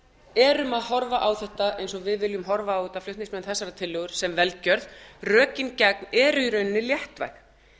erum að horfa á þetta eins og við viljum horfa á þetta flutningsmenn þessarar tillögu sem velgjörð rökin eru í rauninni léttvæg